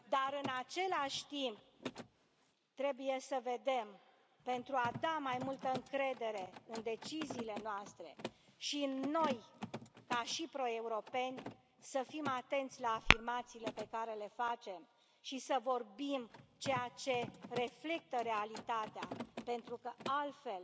În celași timp, trebuie să vedem, pentru a da mai multă încredere în deciziile noastre și în noi, ca și pro europeni, să fim atenți la afirmațiile pe care le facem și să vorbim ceea ce reflectă realitatea pentru că, altfel,